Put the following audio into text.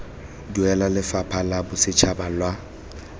duelwa lefapha la bosetšhaba la